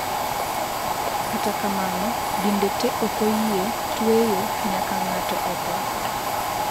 Kata kamano dinde te okoyie tweyo nyaka ng'ato otho